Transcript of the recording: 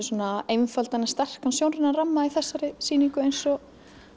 svona einfaldan en sterkan sjónrænan ramma í þessari sýningu eins og